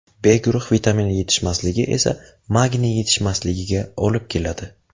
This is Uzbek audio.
B guruh vitamini yetishmasligi esa magniy yetishmasligiga olib keladi.